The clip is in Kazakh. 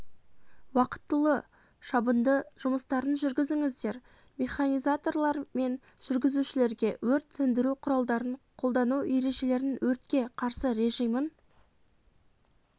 уақытылы шабынды жұмыстарын жүргізіңіздер механизаторлар мен жүргізушілерге өрт сөндіру құралдарын қолдану ережелерін өртке қарсы режимін